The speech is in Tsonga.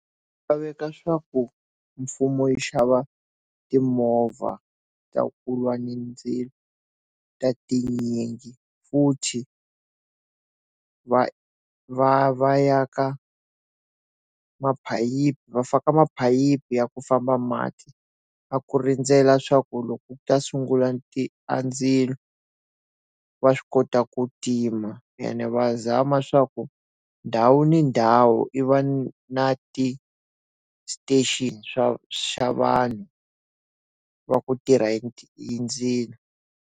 Laveka swa ku mfumo yi xava timovha ta ku lwa ni mindzilo, ta tinyingi futhi va va va ya ka va faka maphayiphi ya ku famba mati, ya ku rindzela swa ku loko ku ta sungula ti andzilo va swi kota ku tima ene va zama swa ku ndhawu ni ndhawu i va na ti-station swa vanhu va ku tirha hi ti hi ndzilo.